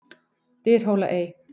Dyrhólaey